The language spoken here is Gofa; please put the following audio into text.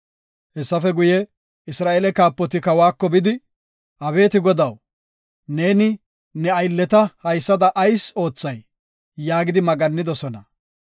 Hessafe guye, Isra7eele kaapoti kawako bidi, “Abeeti godaw, neeni ne aylleta haysada ayis oothay? yaagidi maggannidosona.